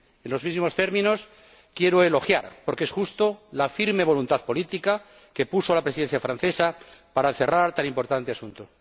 En los mismos términos, quiero elogiar, porque es justo, la firme voluntad política que puso la Presidencia francesa para cerrar tan importante asunto.